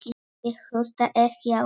Ég hlusta ekki á þig.